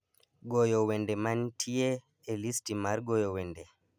goyo wende mantie e listi mar goyo wende